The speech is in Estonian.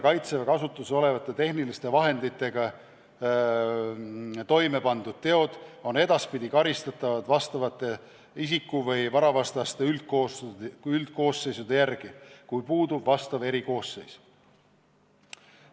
Kaitseväe kasutuses olevate tehniliste vahenditega toime pandud teod on edaspidi karistatavad vastavate isiku- või varavastaste üldkoosseisude järgi, kui puudub vastav erikoosseis.